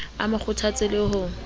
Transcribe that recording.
o mo kgothatse le ho